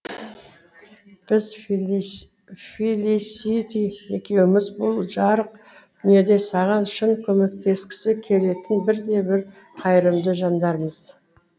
біз фелисити екеуміз бұл жарық дүниеде саған шын көмектескісі келетін бірден бір қайырымды жандармыз